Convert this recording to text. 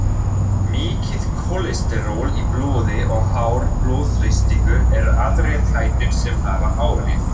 Mikið kólesteról í blóði og hár blóðþrýstingur eru aðrir þættir sem hafa áhrif.